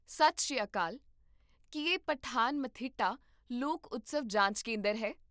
ਸਤਿ ਸ਼੍ਰੀ ਅਕਾਲ, ਕੀ ਇਹ ਪਠਾਨਮਥਿੱਟਾ ਲੋਕ ਉਤਸਵ ਜਾਂਚ ਕੇਂਦਰ ਹੈ?